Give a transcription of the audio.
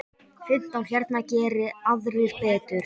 Fimmtán hérna, geri aðrir betur!